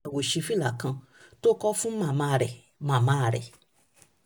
èyí kò ṣẹ̀yìn ilé àwòṣífìlà kan tó kọ́ fún màmá rẹ̀ màmá rẹ̀